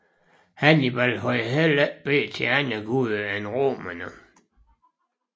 Hannibal havde heller ikke bedt til andre guder end romerne